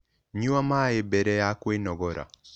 Nyua maĩ bere ya kwĩnogora